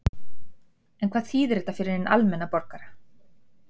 En hvað þýðir þetta fyrir hinn almenna borgara?